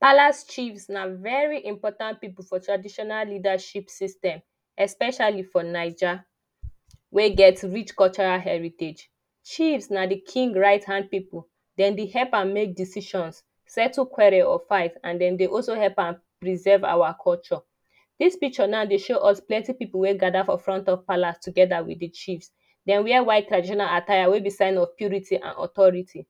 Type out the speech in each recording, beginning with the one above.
Palace Chiefs na very important people for traditional leadership system especially for Naija wey get rich cultural heritage. Chiefs na the king right hand people, Dem dey help am make decisions settle quarrel or fight and den them also help am preserve our culture This picture now dey show us plenty people wey gather for front of palace together with the chiefs. Dem wear white traditional attire wey be sign of purity and authority.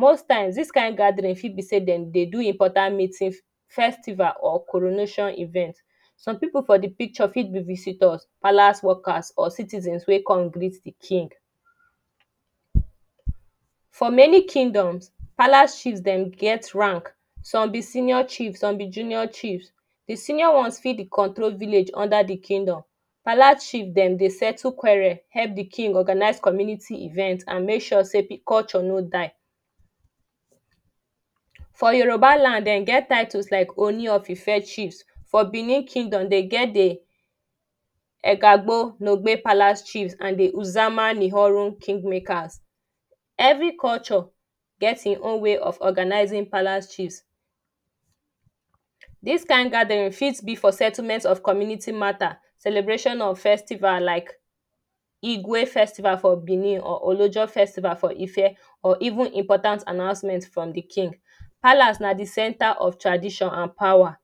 Most times, this kind gathering for be say Dem dey do important meeting festival or coronation event. Some people for the picture fit be visitor, palace workers or citizens wey come greet the king For many kingdoms, palace chiefs Dem get rank some be senior chiefs, some be junior chiefs. The senior ones fit dey control village under the kingdom. Palace chiefs dey settle quarrel, help the king organize community events and make sure say the culture no die For Yoruba land, Dem get titles like Oni of Ife Chiefs, for Benin kingdom, Dem get the Egagbo nogbe palace chief and the Uzamanihorun kingmakers. Every culture get him own way of organizing palace chiefs. This kind gathering fit be for settlement of community matter, celebration of festival like igweh festival for Benin or Olojo festival for Ife or even important announcement from the king. Palace na the centre of tradition and power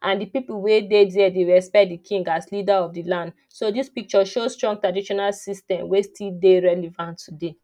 and the people wey dey there dey respect the king as leader of the land. So the picture show strong traditional system wey still dey relevant today